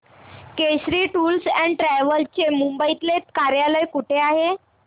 Kesari tours and travels चे मुंबई तले कार्यालय कुठे आहे